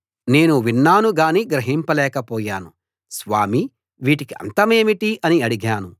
నేను విన్నాను గాని గ్రహింపలేకపోయాను స్వామీ వీటికి అంతమేమిటి అని అడిగాను